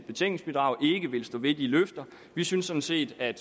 vil stå ved de løfter vi synes sådan set at